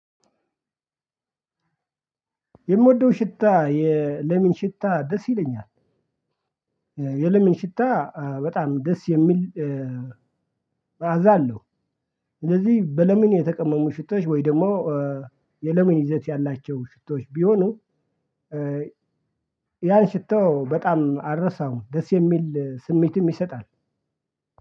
የምወደው ሽታ የለሜን ሽታ ደስ ይለኛል። የለሜን ሽታ በጣም ደስ የሚል- እገዛለሁ። ስለዚህ በሌሜን የተቀመሙ ሽቶች ወይ ደግሞ የለሜን ይዘት ያላቸው ሽቶወች ቢሆኑ- ያን ሽቶ በጣም አረሳውም። ደስ የሚል ስሜትም ይሰጣል።